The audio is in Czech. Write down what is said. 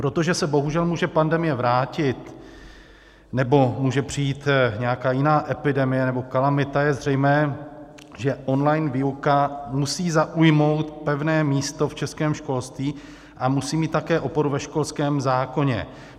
Protože se bohužel může pandemie vrátit nebo může přijít nějaká jiná epidemie nebo kalamita, je zřejmé, že online výuka musí zaujmout pevné místo v českém školství a musí mít také oporu ve školském zákoně.